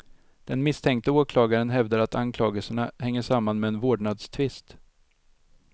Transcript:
Den misstänkte åklagaren hävdar att anklagelserna hänger samman med en vårdnadstvist.